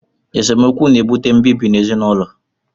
Esemokwu na-ebute mbibi ezinụlọ